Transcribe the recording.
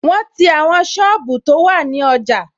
Wọn ti àwọn sọ́ọ̀bù tó wà ní ọjà